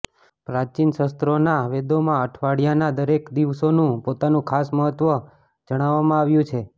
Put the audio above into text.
પ્રાચીન શાસ્ત્રોના વેદોમાં અઠવાડિયાના દરેક દિવસોનું પોતાનું ખાસ મહત્વ જણાવામાં આવ્યું છે